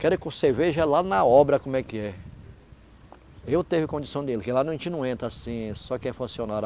Quero que você veja é lá na obra, como é que é. Eu teve condição dele, que lá a gente não entra assim, só que é funcionário.